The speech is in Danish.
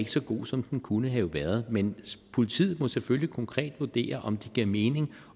så god som den kunne have været men politiet må selvfølgelig konkret vurdere om det giver mening